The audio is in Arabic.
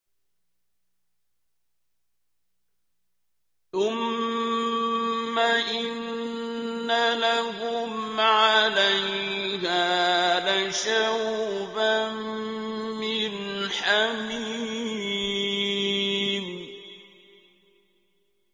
ثُمَّ إِنَّ لَهُمْ عَلَيْهَا لَشَوْبًا مِّنْ حَمِيمٍ